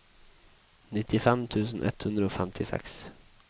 nittifem tusen ett hundre og femtiseks